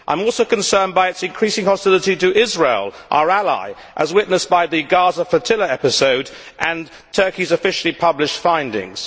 I am also concerned by its increasing hostility to Israel, our ally, as witnessed by the Gaza flotilla episode and Turkey's officially published findings.